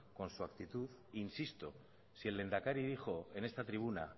con su actitud insisto si el lehendakari dijo en esta tribuna